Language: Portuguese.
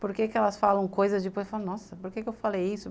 Por que elas falam coisas tipo, nossa, por que eu falei isso?